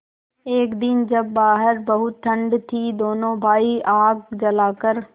एक दिन जब बाहर बहुत ठंड थी दोनों भाई आग जलाकर